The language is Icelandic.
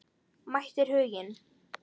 Mætir Huginn?